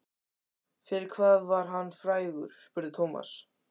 Fyrir hvað var hann frægur? spurði Thomas.